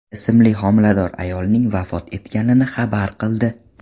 ismli homilador ayolning vafot etganini xabar qildi .